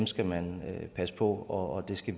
skal man passe på og det skal